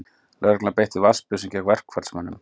Lögregla beitti vatnsbyssum gegn verkfallsmönnum